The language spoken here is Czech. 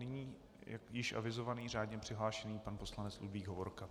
Nyní již avizovaný, řádně přihlášený pan poslanec Ludvík Hovorka.